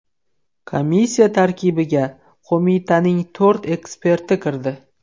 Komissiya tarkibiga qo‘mitaning to‘rt eksperti kirdi.